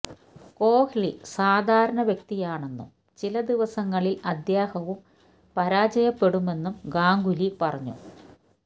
കോഹ്ലി സാധാരണ വ്യക്തിയാണെന്നും ചില ദിവസങ്ങളില് അദ്ദേഹവും പരാജയപ്പെടുമെന്നും ഗാംഗുലി പറഞ്ഞു